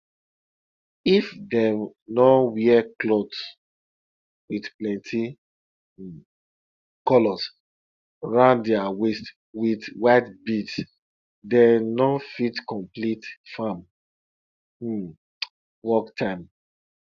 if dem no wear clothes with plenty um colors round their waist with white beads dem no fit complete farm um work time